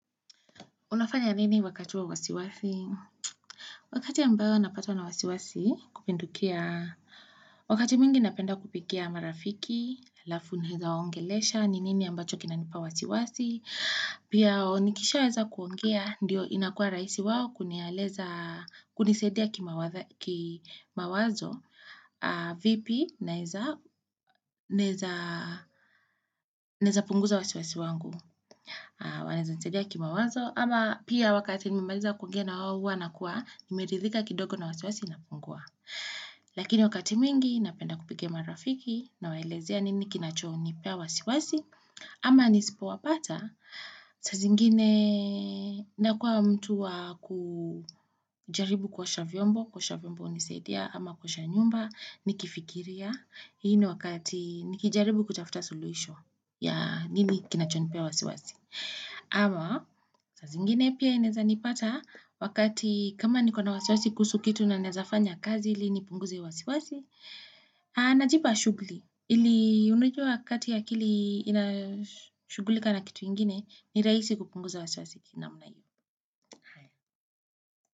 Unafanya nini wakati wa wasiwasi? Wakati ambapo napatwa na wasiwasi kupindukia, wakati mwingi napenda kupigia marafiki, alafu naeza waongelesha, ni nini ambacho kinanipa wasiwasi, pia waonikisha weza kuongea, ndiyo inakua rahisi wao kunisaidia kimawazo, vipi naeza punguza wasiwasi wangu, wanaeza nisadia kimawazo, ama pia wakati nimemaliza kuongea na wao hua nakuwa nimeridhika kidogo na wasiwasi na pungua lakini wakati mwingi napenda kupigia marafiki na waelezea nini kinachonipa wasiwasi ama nisipo wapata saa zingine nakuwa mtu wa kujaribu kuosha vyombo kuosha vyombo hunisaidia ama kuosha nyumba nikifikiria hii ni wakati nikijaribu kutafuta solution ya nini kinachonipea wasiwasi ama saa zingine pia ineza nipata wakati kama nikona wasiwasi kuhusu kitu ninaweza fanya kazi ili nipunguze wasiwasi, na jipa shughuli ili unajua wakati akili inashugulika na kitu ingine ni rahisi kupunguza wasiwasi kwa namna hii.